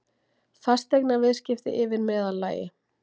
Fasteignaviðskipti yfir meðallagi